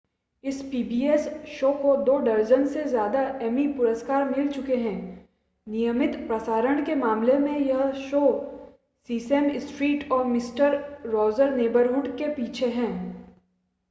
इस pbs show को दो दर्जन से ज़्यादा एमी पुरस्कार मिल चुके हैं नियमित प्रसारण के मामले में यह सिर्फ़ सीसेम स्ट्रीट और मिस्टर रॉजर नेबरहुड से पीछे है